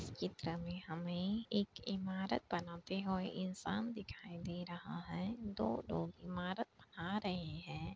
इस चित्र में हमें एक ईमारत बनाते हुए इंसान दिखाई दे रहा है दो लोग ईमारत बना रहे है।